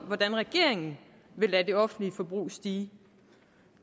hvordan regeringen vil lade det offentlige forbrug stige